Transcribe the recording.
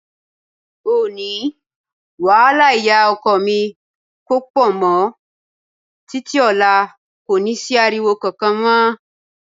Òní, wàhálà ìyá ọkọ mi kò pọ̀ mọ́, títí ọ̀la kò ní sí ariwo kankan mọ́.